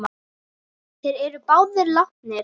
Þeir eru báðir látnir.